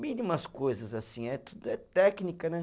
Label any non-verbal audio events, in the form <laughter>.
Mínimas coisas assim, <unintelligible> é técnica, né?